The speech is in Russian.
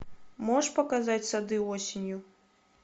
можешь показать сады осенью